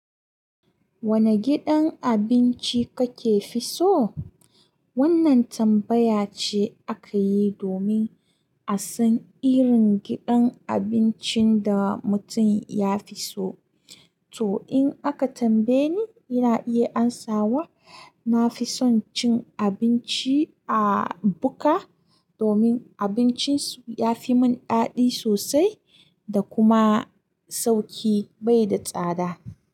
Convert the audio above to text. Wanne gidan abinci kake fi so? Wannan tambaya ce aka yi domin a san irin gidan abincin da mutum ya fi so. To in aka tambaye ni, ina iya amsawa na fi son cin abinci a Buka domin abincinsu ya fi mun daɗi sosai. Da kuma sauƙi bai da tsada.